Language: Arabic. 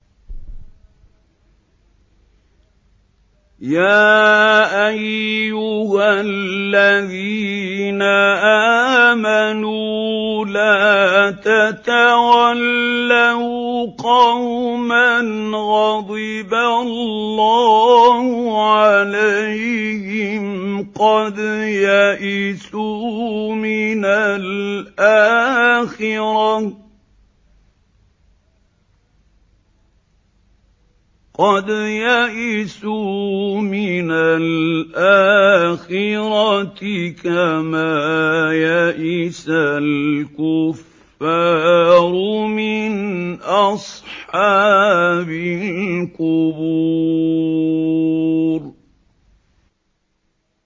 يَا أَيُّهَا الَّذِينَ آمَنُوا لَا تَتَوَلَّوْا قَوْمًا غَضِبَ اللَّهُ عَلَيْهِمْ قَدْ يَئِسُوا مِنَ الْآخِرَةِ كَمَا يَئِسَ الْكُفَّارُ مِنْ أَصْحَابِ الْقُبُورِ